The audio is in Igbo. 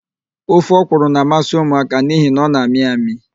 Ofe ọkwụrụ na-amasị ụmụaka n'ihi na ọ na-amị amị.